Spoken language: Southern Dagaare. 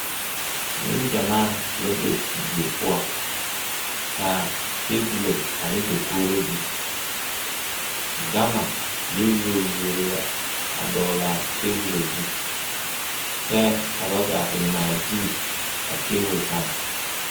Neŋgyamaa la be die poɔ ka tebolo ane dakogri biŋ gama yɔ yuori yuori la a dɔgle a tebolo zu kyɛ ka ba kaa te ŋmaa gyili a tebol kaŋ.